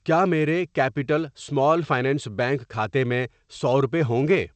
کیا میرے capital small finance bank کھاتے میں سو روپے ہوںگے؟